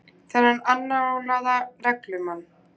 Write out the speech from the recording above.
Þennan annálaða reglumann.